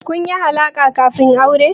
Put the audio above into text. Kun yi alaƙa kafin aure?